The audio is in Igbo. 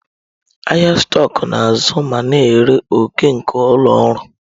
Ahịa stọkụ na-azụ ma na-ere òkè nke ụlọ ọrụ.